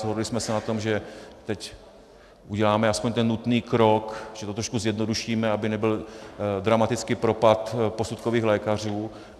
Shodli jsme se na tom, že teď uděláme alespoň ten nutný krok, že to trošku zjednodušíme, aby nebyl dramatický propad posudkových lékařů.